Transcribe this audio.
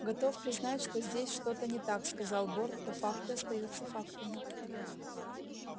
готов признать что здесь что-то не так сказал борт но факты остаются фактами